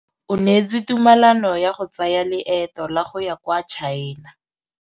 O neetswe tumalanô ya go tsaya loetô la go ya kwa China.